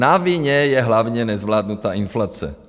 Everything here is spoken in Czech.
Na vině je hlavně nezvládnutá inflace.